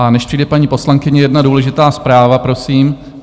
A než přijde paní poslankyně, jedna důležitá zpráva, prosím.